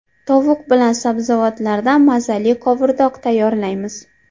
Tovuq bilan sabzavotlardan mazali qovurdoq tayyorlaymiz.